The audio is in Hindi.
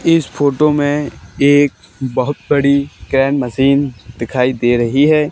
इस फोटो में एक बहुत बड़ी कैन मशीन दिखाई दे रही है।